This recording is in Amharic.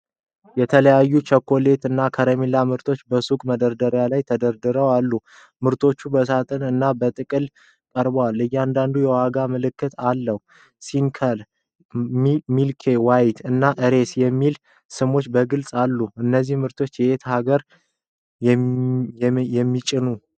የተለያዩ የቸኮሌት እና የከረሜላ ምርቶች በሱቅ መደርደሪያዎች ላይ ተደርድረው አሉ። ምርቶቹ በሳጥን እና በጥቅል ቀርበዋል። እያንዳንዱ የዋጋ ምልክት አለው። "ስኒከር"፣ "ሚልኪ ዌይ" እና "ሬስ" የሚሉ ስሞች በግልጽ አሉ። እነዚህ ምርቶች የትኛው አገር ነው የሚመነጩት?